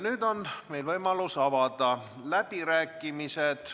Nüüd on võimalus avada läbirääkimised.